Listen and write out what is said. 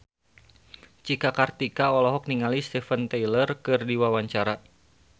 Cika Kartika olohok ningali Steven Tyler keur diwawancara